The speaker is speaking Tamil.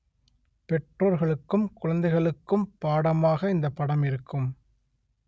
பெற்றோர்களுக்கும் குழந்தைகளுக்கும் பாடமாக இந்த படம் இருக்கும்